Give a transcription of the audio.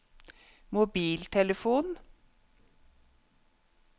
mobiltelefon